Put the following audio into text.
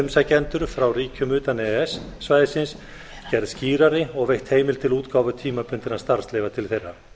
umsækjendur frá ríkjum utan e e s svæðisins gerð skýrari og veitt heimild til útgáfu tímabundinna starfsleyfa til þeirra